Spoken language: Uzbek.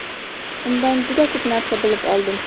Undan juda ko‘p narsa bilib oldim.